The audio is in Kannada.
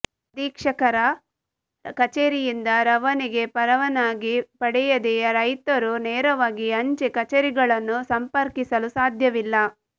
ಅಧೀಕ್ಷಕರ ಕಚೇರಿಯಿಂದ ರವಾನೆಗೆ ಪರವಾನಗಿ ಪಡೆಯದೇ ರೈತರು ನೇರವಾಗಿ ಅಂಚೆ ಕಚೇರಿಗಳನ್ನು ಸಂಪರ್ಕಿಸಲು ಸಾಧ್ಯವಿಲ್ಲ